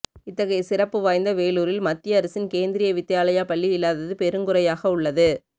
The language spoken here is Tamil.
இத்தகைய சிறப்பு வாய்ந்த வேலூரில் மத்திய அரசின் கேந்திரிய வித்யாலயா பள்ளி இல்லாதது பெருங்குறையாக உள்ளது